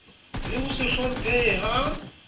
le ho se hlomphehe ha